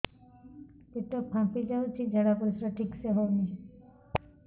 ପେଟ ଫାମ୍ପି ଯାଉଛି ଝାଡ଼ା ପରିସ୍ରା ଠିକ ସେ ହଉନି